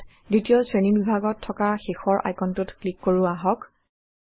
ইয়াত দ্বিতীয় শ্ৰেণীবিভাগত থকা শেষৰ আইকনটোত ক্লিক কৰো আহক